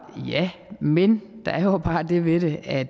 ja men der er jo bare det ved det at